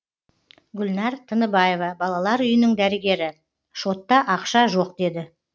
гүлнар тыныбаева балалар үйінің дәрігері шотта ақша жоқ деді